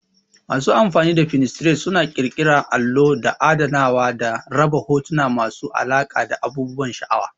Masu amfani da Pininterest suna ƙirƙira allo don adanawa da raba hotuna masu alaƙa da abubuwan sha'awa.